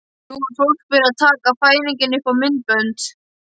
Nú var fólk byrjað að taka fæðingar upp á myndbönd.